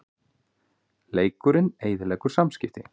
Lekinn eyðileggur samskipti